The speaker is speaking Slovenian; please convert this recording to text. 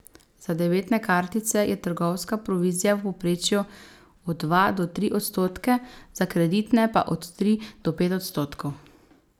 Za debetne kartice je trgovska provizija v povprečju od dva do tri odstotke, za kreditne pa od tri do pet odstotkov.